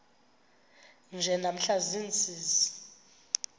nje namhla ziintsizi